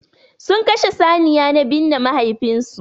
Sun Kashe saniya na binne mahaifin su.